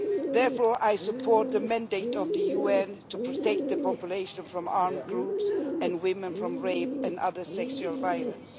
Therefore, I support the mandate of the UN to protect the population from armed groups and women from rape and other sexual violence.